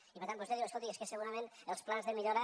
i per tant vostè diu escolti és que segurament els plans de millora